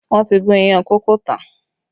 Wọn ti gún iyán kókò tán